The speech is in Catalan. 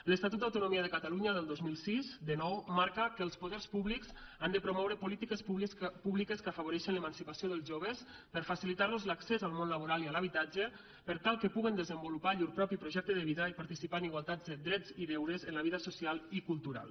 l’estatut d’autonomia de catalunya del dos mil sis de nou marca que els poders públics han de promoure polítiques públiques que afavoreixin l’emancipació dels joves per facilitar los l’accés al món laboral i a l’habitatge per tal que puguen desenvolupar llur propi projecte de vida i participar en igualtats drets i deures en la vida social i cultural